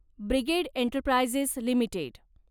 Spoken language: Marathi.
brigade Enterprises limited